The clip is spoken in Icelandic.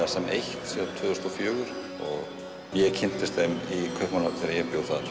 sem eitt síðan tvö þúsund og fjögur ég kynntist þeim í Kaupmannahöfn þegar ég bjó þar